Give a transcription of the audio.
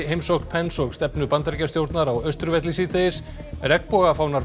heimsókn Pence og stefnu Bandaríkjastjórnar á Austurvelli síðdegis